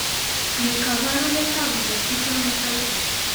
Ne kaabarunetap interstitial nephritis?